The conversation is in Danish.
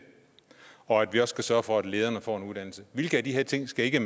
og at vi også skal sørge for at lederne får en uddannelse hvilke af de her ting skal ikke